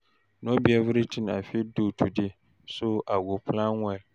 No be everything I fit do today, so I go plan well.